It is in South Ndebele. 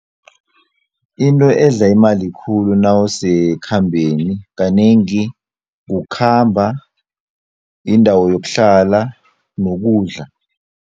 Into edla imali khulu nawusekhambeni kanengi kukhamba, indawo yokuhlala nokudla.